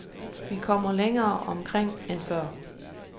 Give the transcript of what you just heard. Vi kommer længere omkring end før.